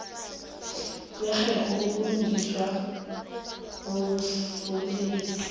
kwerherho lobulungiswa bobulelesi